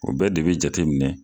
O bɛ de bi jateminɛ